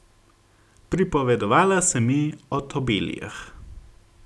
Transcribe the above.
Pripovedovala si mi o tobelijah.